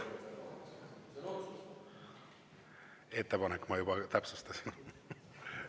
Ettepanek, ma juba täpsustasin.